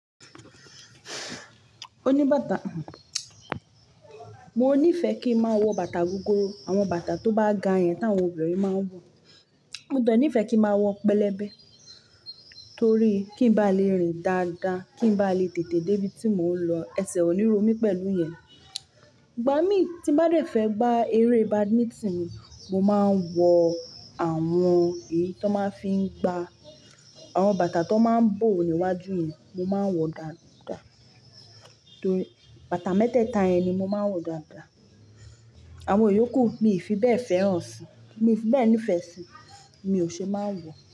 Oníbàtà, mo níìfẹ́ kí n máa wọ bàtà gogoro. Àwọn bàtà tó bá ga yẹn tí àwọn obìnrin máa ń wọ̀, mo de ní ìfẹ́ kí n máa wọ pẹlẹbẹ torí kí n bá lè rìn dáadáa, kí n bá lè tètè dé ibi tí mò ń lọ, ẹsẹ̀ ò ní ro mí pẹ̀lú ìyẹn. Ìgbà mí tí bá rẹ̀ fẹ́ gbá eré Badminton, mo máa ń wọ àwọn èyí tó máa ń fi gba, àwọn bàtà tó máa ń bò níwájú yẹn, mo máa ń wọ dàda. Torí bàtà mẹ́tẹẹ̀ta yẹn ni mo máa ń wọ dàda. Àwọn ìyókù, mi ò fi bẹ́ẹ̀ fẹ́ràn síi, mi ò fi bẹ́ẹ̀ nífẹ̀ẹ́ síi, mi ò ṣe máa ń wọ̀